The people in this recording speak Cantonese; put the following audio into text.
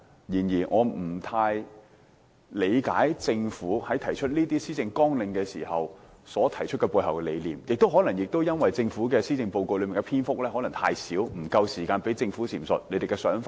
然而，我不太理解政府這些施政綱領背後的理念，可能因為受施政報告篇幅所限，不足以讓政府闡述其想法。